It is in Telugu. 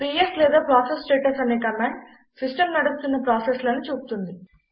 పిఎస్ లేదా ప్రాసెస్ స్టేటస్ అనే కమాండ్ సిస్టం నడుస్తున్న ప్రాసెస్లను చూపుతుంది